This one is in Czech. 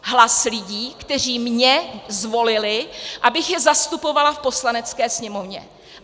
Hlas lidí, kteří mě zvolili, abych je zastupovala v Poslanecké sněmovně.